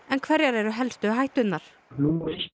en hverjar eru helstu hætturnar númer